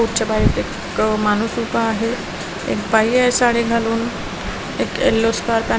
रोडच्या बाहेर एक माणूस उभा आहे एक बाई आहे साडी घालून एक येलो स्कार्फ आणि--